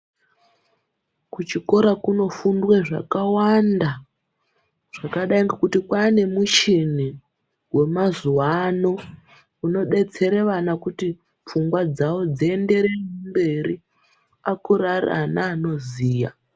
Kuchikora kunofundwe zvakawanda zvakadai ngokuti kwaane mishini wemazuva ano inobetsera vana kuti pfungwa dzawo dziendere mberi akure ari ana anoziya.